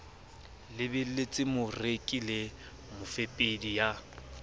lebelletse moreki le mofepedi ya